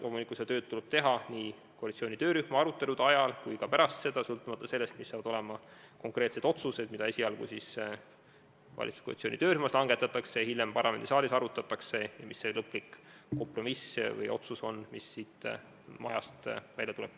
Loomulikult tuleb seda tööd teha nii koalitsiooni töörühma arutelude ajal kui ka hiljem, sõltumata sellest, millised on konkreetsed otsused, mis langetatakse valitsuskoalitsiooni töörühmas ja mida hiljem arutatakse parlamendisaalis, ning sellest, milline on lõplik kompromiss või otsus, mis siit majast välja läheb.